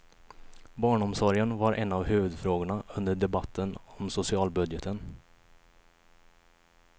Barnomsorgen var en av huvudfrågorna under debatten om socialbudgeten.